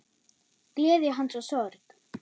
Gleði hans og sorg.